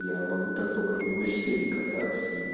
я могу так только на велосипеде кататься и